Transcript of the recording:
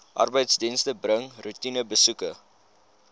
arbeidsdienste bring roetinebesoeke